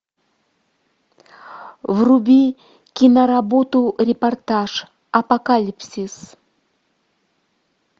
вруби киноработу репортаж апокалипсис